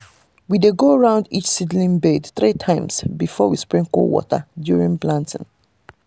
we dey go round each seedbed three times before we sprinkle water during planting.